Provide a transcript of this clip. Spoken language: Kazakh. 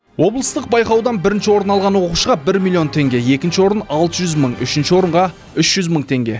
облыстық байқаудан бірінші орын алған оқушыға бір миллион теңге екінші орын алты жүз мың үшінші орынға үш жүз мың теңге